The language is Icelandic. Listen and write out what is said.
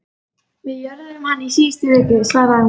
Við jörðuðum hann í síðustu viku, svaraði hún.